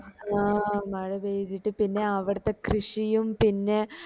ആഹ് മഴ പെയ്‌തിട്ടു പിന്നെ അവിടത്തെ കൃഷിയും പിന്നെ